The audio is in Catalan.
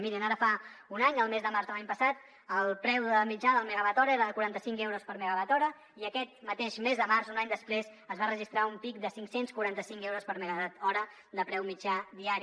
mirin ara fa un any el mes de març de l’any passat el preu mitjà del megawatt hora era de quaranta cinc euros i aquest mateix mes de març un any després es va registrar un pic de cinc cents i quaranta cinc euros per megawatt hora de preu mitjà diari